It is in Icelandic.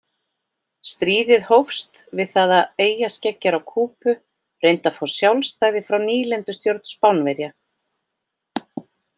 Stríðið hófst við það að eyjarskeggjar á Kúbu reyndu að fá sjálfstæði frá nýlendustjórn Spánverja.